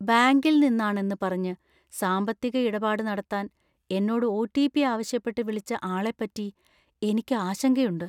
ബാങ്കിൽ നിന്നാണെന്ന് പറഞ്ഞ് സാമ്പത്തിക ഇടപാട് നടത്താന്‍ എന്നോട് ഒ.ടി.പി. ആവശ്യപ്പെട്ട് വിളിച്ച ആളെപ്പറ്റി എനിക്ക് ആശങ്കയുണ്ട്.